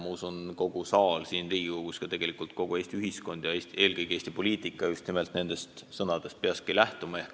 Ma usun, et kogu saal siin Riigikogus ja ka tegelikult kogu Eesti ühiskond ja eelkõige Eesti poliitika just nimelt nendest sõnadest peakski lähtuma.